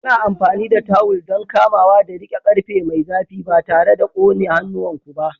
Ana amfani da tawul don kamawa da riƙe ƙarfe mai zafi ba tare da ƙone hannuwanku ba.